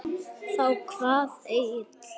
Þá kvað Egill